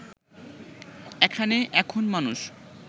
এখানে এখন মানুষ